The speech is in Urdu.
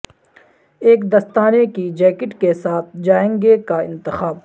ایک دستانے کی جیکٹ کے ساتھ جائیں گے کا انتخاب